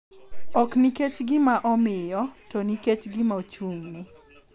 Ok nikech gima omiyo, to nikech gima ochung’ne.